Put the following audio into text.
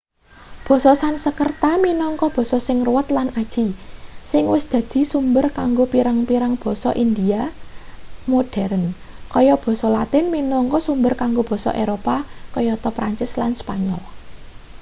basa sansekrerta minangka basa sing ruwet lan aji sing wis dadi sumber kanggo pirang-pirang basa india modheren kaya basa latin minangka sumber kanggo basa eropa kayata prancis lan spanyol